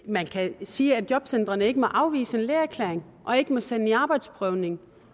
man kan sige at jobcentrene ikke må afvise en lægeerklæring og ikke må sende i arbejdsprøvning